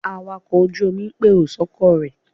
Awakọ̀ ojú-omi ń pèrò sọ́kọ̀ rẹ̀